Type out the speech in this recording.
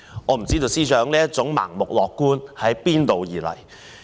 我不知道司長這種盲目樂觀是從何而來？